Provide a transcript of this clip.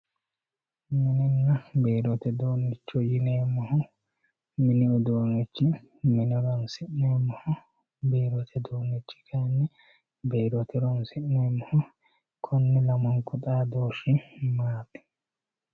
Minina biirote udunicho yinemohu mini uduunichi mine horonsinemoho biirote udunichi kayini biirote horonsinemoho koni lamunku xadooshi maati?